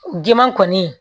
Diman kɔni